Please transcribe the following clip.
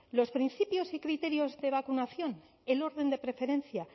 los principios y criterios de vacunación el orden de preferencia